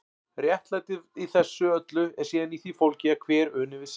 Réttlætið í þessu öllu er síðan í því fólgið að hver uni við sitt.